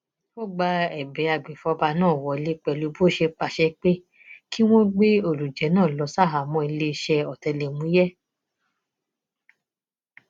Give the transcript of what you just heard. ó gba ẹbẹ agbèfọba náà wọlẹ pẹlú bó ṣe pàṣẹ pé kí wọn gbé olùjẹ náà lọ ṣaháàmọ iléeṣẹ ọtẹlẹmúyẹ